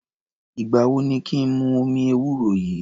Ìgbà wo ni kí n mu omi ewúro yìí?